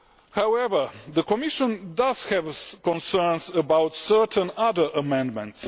However, the Commission does have concerns about certain other amendments.